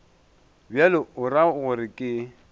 bjalo o ra gore ke